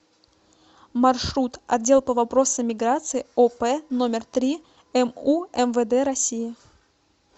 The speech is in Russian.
маршрут отдел по вопросам миграции оп номер три му мвд россии